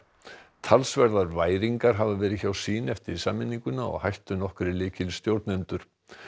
talsverðar væringar hafa verið hjá sýn eftir sameininguna og hættu nokkrir lykilstjórnendur